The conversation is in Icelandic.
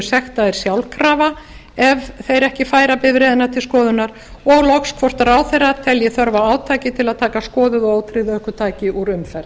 sektaðir sjálfkrafa ef þeir ekki færa bifreiða til skoðunar og loks hvort ráðherrar telja þörf á átaki til að taka skoðuð og ótryggð ökutæki úr umferð